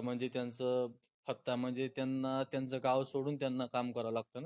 म्हनजे त्यांचं हप्ता म्हनजे त्यांना त्यांचं गाव सोडून त्यांना काम करावं लागत ना